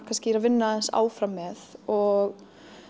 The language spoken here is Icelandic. kannski að vinna aðeins áfram með og